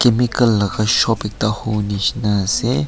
pickle laga shop ekta hubo nisina asae.